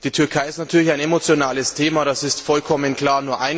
Die Türkei ist natürlich ein emotionales Thema, das ist vollkommen klar.